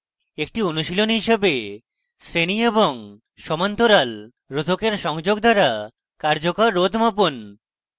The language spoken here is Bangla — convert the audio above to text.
একটি অনুশীলনী হিসেবেশ্রেণী এবং সমান্তরাল রোধকের সংযোগ দ্বারা কার্যকর রোধ মাপুন